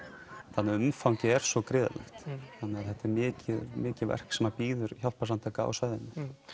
þannig umfangið er svo gríðarlegt þannig þetta er mikið mikið verk sem bíður hjálparsamtaka á svæðinu